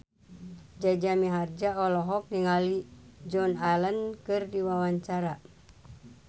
Jaja Mihardja olohok ningali Joan Allen keur diwawancara